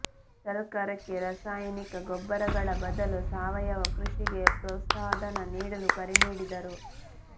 ಸರಕಾರಕ್ಕೆ ರಾಸಾಯನಿಕ ಗೊಬ್ಬರಗಳ ಬದಲು ಸಾವಯವ ಕೃಷಿಗೆ ಪ್ರೋತ್ಸಾಹಧನ ನೀಡಲು ಕರೆ ನೀಡಿದರು